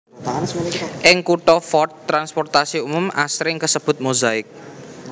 Ing kutha Fort transportasi umum asring kasebut Mozaik